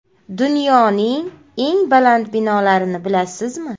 Dunyoning eng baland binolarini bilasizmi?.